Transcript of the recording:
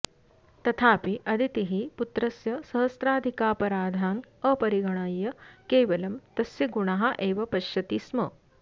तथापि अदितिः पुत्रस्य सहस्राधिकापराधान् अपरिगणय्य केवलं तस्य गुणाः एव पश्यति स्म